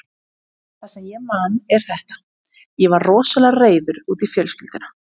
Það sem ég man er þetta: Ég var rosalega reiður út í fjölskylduna.